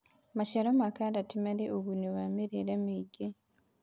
maciaro ma karoti mari ugunĩ wa mirire miingi